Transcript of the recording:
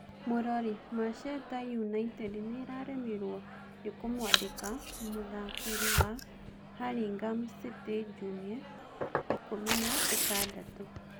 (Mũrori) Macheta United nĩĩraremirwo nĩ kũmwandĩka m mũtharĩkĩri wa Haringhum City Njung'e, ikũmi na ĩtandatũ.